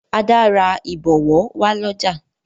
Ada rà ibọwọ wá l'ọja.